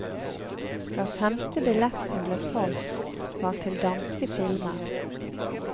Hver femte billett som ble solgt, var til danske filmer.